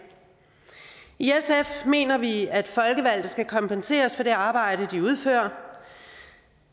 i sf mener vi at folkevalgte skal kompenseres for det arbejde de udfører